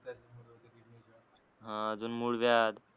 हा अजून मूळव्याध